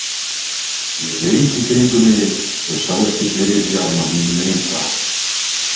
Ég leit í kringum mig og sá ekki fleiri bjarma mín megin frá.